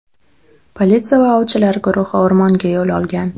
Politsiya va ovchilar guruhi o‘rmonga yo‘l olgan.